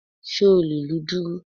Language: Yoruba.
Sé o lè lu dùrù?